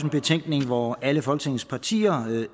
betænkning hvor alle folketingets partier